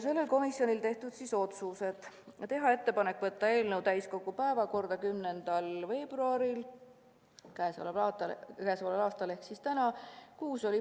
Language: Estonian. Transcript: Sellel istungul langetatud otsused: teha ettepanek võtta eelnõu täiskogu päevakorda 10. veebruariks ehk siis tänaseks.